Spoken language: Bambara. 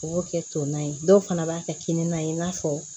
U b'o kɛ to na ye dɔw fana b'a kɛ kini na ye i n'a fɔ